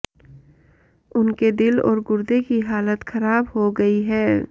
उनके दिल और गुर्दे की हालत ख़राब हो गयी है